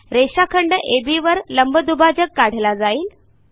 रेषाखंड अब वर लंबदुभाजक काढला जाईल